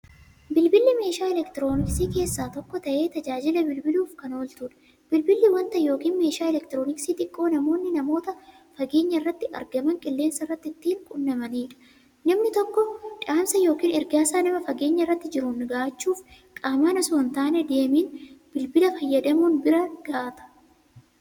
Bilbilli meeshaa elektirooniksii keessaa tokko ta'ee, taajajila bilbiluuf kan ooltuudha. Bilbilli wanta yookiin meeshaa elektirooniksii xiqqoo namoonni namoota fageenyarratti argaman, qilleensarratti ittiin qunnamaniidha. Namni tokko dhaamsa yookiin ergaasaa nama fageenyarra jiruun ga'uuchuuf, qaaman osoo hin deemin, bilbila fayyadamuun biraan ga'ata.